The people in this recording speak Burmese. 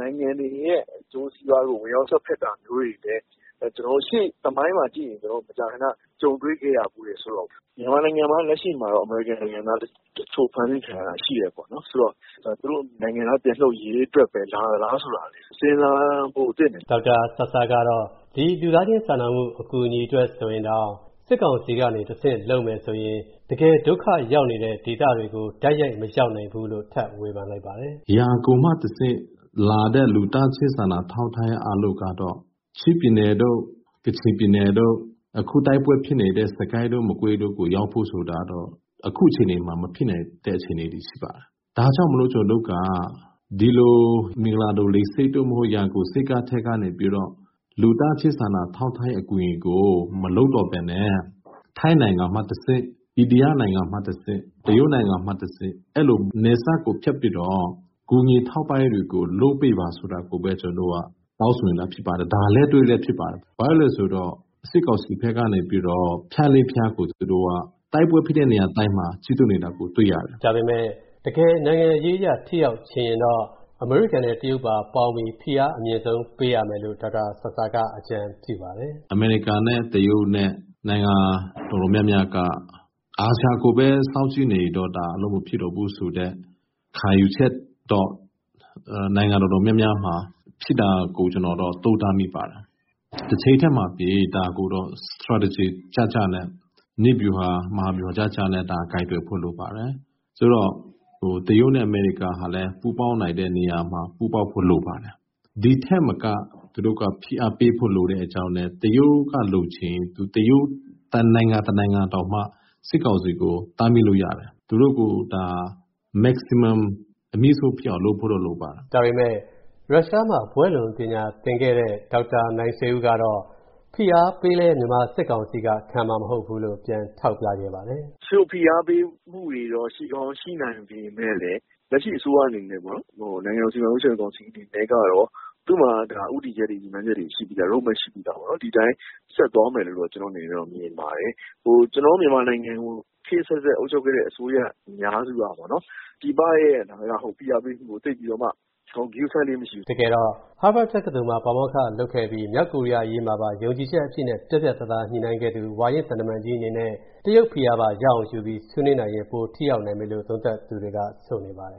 နိုင်ငံတွေရဲ့ အကျိုးစီးပွားကို ဝင်ရောက်စွက်ဖက်တာ ရှေ့သမိုင်းမှာ ကျနော်တို့ မကြာခဏကြုံတွေခဲ့ရဘူးတယ်။ မြန်မာနိုင်ငံမှာတော့ လက်ရှိမှာ အမေရိကန်နိုင်ငံသားတချို့ဖမ်းဆီးခံရတာရှိတယ်။ ဆိုတော့ သူတို့နိုင်ငံသား ပြန်လွှတ်ရေးအတွက်ပဲလာသလား ဆိုတာ စဉ်းစားဖို့သင့်တယ်။ ကိုဝင်းမင်း ။. ။ ဒေါက်တာဆာဆာကတော့ ဒီလူသားချင်းစာနာမှုအတွက်ဆိုရင်တော့ တကယ်ဒုက္ခရောက်နေတဲ့ဒေသတွေကို မရောက်နိုင်ဘူးလို့ ထပ်ဝေဖန်လိုက်ပါတယ်။ ဒေါက်တာ ဆာဆာ ။. ။ ဒီဟာကိုမှလာတဲ့ လူသာချင်းစာနာမှုကတော့ ချင်းပြည်နယ် တို့ ကချင်ပြည်နယ်တို့ အခုတိုက်ပွဲတွေဖြစ်ပွားနေတဲ့နေရာတွေရောက်ဖို့ဆိုတာကတော့ အခုအခြေအနေမှာ မဖြစ်နိုင်တဲ့အခြေအနေဖြစ်ပါတယ်။ မင်္ဂလာဒုံလေဆိပ်တို့၊ ရန်ကုန်ဆိပ်ကမ်းတို့ကနေပြီးတော့ လူသားချင်းစာနာထောက်ထားတဲ့အကူညီတွေကို မလုပ်တော့ပဲနဲ့ ထိုင်းနိုင်ငံ၊ အိန္ဒိယနိုင်ငံ၊ တရုတ်နိုင်ငံတွေကတဆင့် နယ်စပ်ကို ဖြတ်ပြီးတော့ ကူညီထောက်ပန့်မှုတွေကို လုပ်ပေးပါဆိုပြီး တောင်းဆိုနေတာဖြစ်ပါတယ်။ ဒါလက်တွေ့လည်းဖြစ်ပါတယ်။ ဘာဖြစ်လို့လည်းဆိုရင် စစ်ကောင်စီဖက်ကနေပြီးတော့ ဖြတ်လေးဖြတ်ကို တိုက်ပွဲဖြစ်တဲ့နေရာတိုင်းမှာ ပြုလုပ်နေတာတွေ့ရတယ်။ ကိုဝင်းမင်း ။. ။ တကယ်နိုင်ငံရေးအရဆိုရင် အမေရိကန် နဲ့တရုတ်တို့က ဖိအားပေးသင့်တယ်လို့ ဒေါက်တာ ဆာဆာ ကအကြံပြုပါတယ်။ ဒေါက်တာ ဆာဆာ ။. ။ အမေရိကန် နဲ့တရုတ်နဲ့ က အာဆီယံကိုပဲ စောင့်ကြည့်နေတာ အလုပ်မဖြစ်တော့ဘူးဆိုတဲ့အနေအထားကို နိုင်ငံအတော်များများမှာ ရှိလာတာကိုတော့ ကျနော်သုံးသပ်မိပါတယ်။ တချိန်တည်းမှာပဲ ဒါကို နည်းဗျူဟာ မဟာဗျူဟာကျကျနဲ့ ကိုင်တွယ်ဖို့လိုပါတယ်။ တရုပ်နဲ့ အမေရိကန်လည်း ပူးပေါင်းနိုင်တဲ့နေရာမှာ ပူးပေါင်းဖို့လိုပါတယ်။ ဒီထက်မက ပူးပေါင်းဖု့ိလိုပါတယ်။ တရုတ်ကတောင် စစ်ကောင်စီကို တားမြစ်လို့ရတယ်။ အမြင့်ဆုံးလုပ်ဖို့တော့လိုပါတယ်။ ကိုဝင်းမင်း ။ ။ ရုရှာမှာ ဘွဲ့လွန်ပညာသင်ခဲ့တဲ့ ဒေါက်တာ နိုင်ဆွေဦး ကတော့ ဖိအားပေးလည်း မြန်မာစစ်ကောင်စီကတော့ ခံမှာမဟုတ်ဘူးလို့ ပြန်ထောက်ပြခဲ့ပါတယ်။ ဒေါက်တာ နိုင်ဆွေဦး ။. ။ ဖိအားပေးမှုတွေရှိပေမယ့်လည်း လက်ရှိစစ်ကောင်စီအနေနဲ့ကတော့ သူမှာ ဦးတည်ချက် ရည်မှန်ချက်တွေရှိပြီးသား ။ Road Map ရှိပြီးသား။ ဒီအတိုင်းဆက်သွားမယ်လို့တော့ ကျနော်တို့မြင်ပါတယ်။ ကျနော်တို့မြန်မာနိုင်ငံ ခေတ်အဆက်ဆက် အုပ်ချုပ်ခဲ့တဲ့ အစိုးရအများစုကတော့ ပြည်ပဖိအားပေးမှုတွေကို ဂရုစိုက်လေ့မရှိဘူး။ ကိုဝင်းမင်း ။. ။ တကယ်တော့ ဟားဘတ်တက္ကသိုလ်မှာ ပါမောက္ခလုပ်ခဲ့ပြီး မြောက်ကိုရီးယားအရေးမှာ ယုံကြည်ချက်အပြည့်နဲ့ ပြတ်ပြတ်သားလုပ်ခဲ့သူ ဝါရင့်သံတမန်ကြီးအနေနဲ့ တရုတ်ဖိအားပါရအောင်ဆွေးနွေးနိုင်လိမ့်မယ်လို့ သုံးသပ်သူတွေက ဆိုနေကြပါတယ်ခ